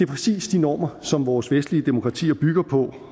præcis de normer som vores vestlige demokratier bygger på